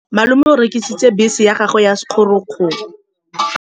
Malome o rekisitse bese ya gagwe ya sekgorokgoro.